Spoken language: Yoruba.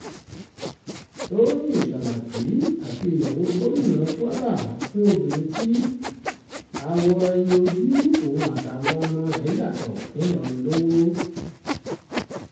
tọ́yìn sàràkí àti ìyàwó gómìnà kwara fún obìnrin tí àwọ̀ ẹ̀yìn ojú òun àtàwọn ọmọ rẹ̀ yàtọ̀ ńìlọrin lọ́wọ́